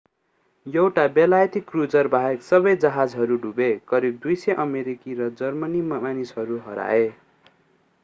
एउटा बेलायती क्रूजर बाहेक सबै जहाजहरू डुबे करिब 200 अमेरिकी र जर्मनी मानिसहरू हराए